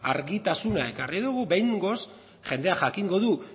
argitasuna ekarri dugu behingoz jendeak jakingo du